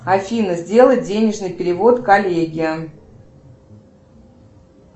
афина сделай денежный перевод коллеге